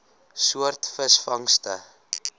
soort visvangste